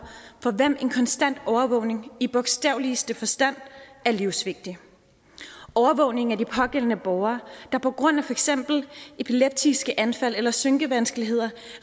for hvem en konstant overvågning i bogstaveligste forstand er livsvigtig overvågning af de pågældende borgere der på grund af for eksempel epileptiske anfald eller synkevanskeligheder